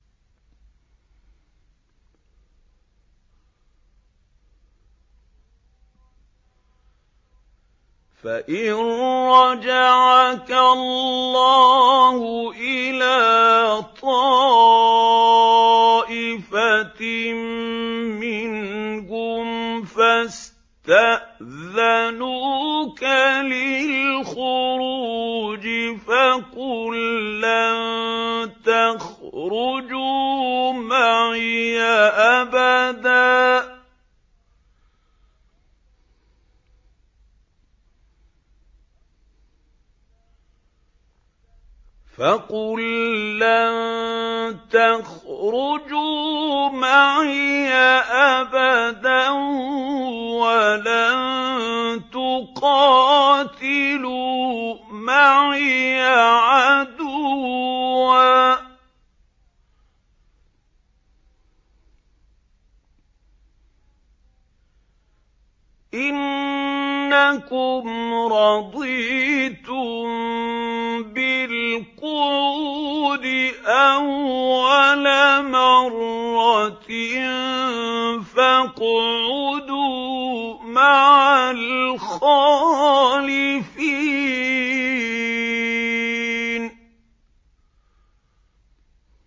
فَإِن رَّجَعَكَ اللَّهُ إِلَىٰ طَائِفَةٍ مِّنْهُمْ فَاسْتَأْذَنُوكَ لِلْخُرُوجِ فَقُل لَّن تَخْرُجُوا مَعِيَ أَبَدًا وَلَن تُقَاتِلُوا مَعِيَ عَدُوًّا ۖ إِنَّكُمْ رَضِيتُم بِالْقُعُودِ أَوَّلَ مَرَّةٍ فَاقْعُدُوا مَعَ الْخَالِفِينَ